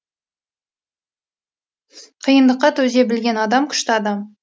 қиындыққа төзе білген адам күшті адам